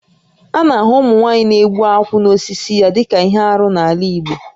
A na-ahụ ụmụnwaanyị na-egbu akwụ n'osisi ya dịka ihe arụ n'ala Igbo